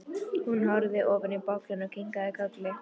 Hún horfði ofan í bollann og kinkaði kolli.